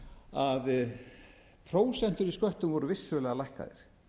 að prósentur í sköttum voru vissulega lækkaðar